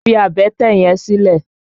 Fi àbẹ́tẹ̀ yẹn sílẹ̀!